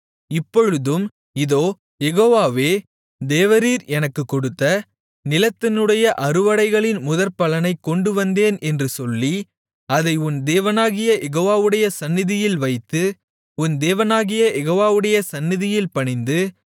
இப்பொழுதும் இதோ யெகோவாவே தேவரீர் எனக்குக் கொடுத்த நிலத்தினுடைய அறுவடைகளின் முதற்பலனைக் கொண்டுவந்தேன் என்று சொல்லி அதை உன் தேவனாகிய யெகோவாவுடைய சந்நிதியில் வைத்து உன் தேவனாகிய யெகோவாவுடைய சந்நிதியில் பணிந்து